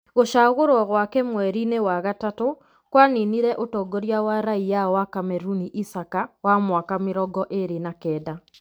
Gũcagũrwo gwake mwerinĩ wa gatatu kwaninire ũtongoria wa raia wa Kameruni Isaka wa mĩaka mĩrongo ĩrĩ na kenda.